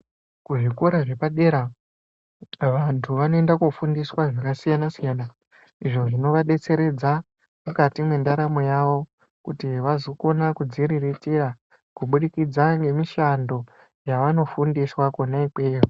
Ku zvikora zvepadera vantu vanoenda ko fundiswa zvaka siyana siyana izvo zvinova detsereredza mukati me ndaramo yavo kuti vazokona kudzi riritira kubudikidza nge mishando yavano fundiswa kona ikweyo.